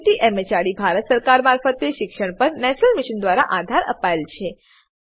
જેને ICT MHRD Bharat સરકાર મારફતે શિક્ષણ પર નેશનલ મિશન દ્વારા આધાર અપાયેલ છે